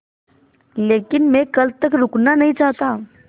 लेकिन मैं कल तक रुकना नहीं चाहता